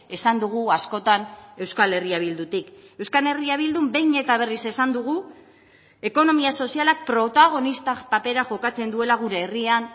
esan dugu askotan euskal herria bildutik euskal herria bildun behin eta berriz esan dugu ekonomia sozialak protagonista papera jokatzen duela gure herrian